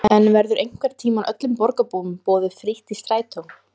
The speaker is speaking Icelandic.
En verður einhvern tímann öllum borgarbúum boðið frítt í strætó?